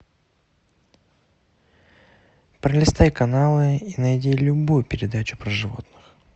пролистай каналы и найди любую передачу про животных